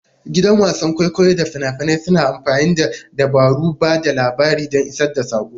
Da gidan wasan kwaikwayo da fina-finai suna amfani da dabarun ba da labari don isar da saƙo.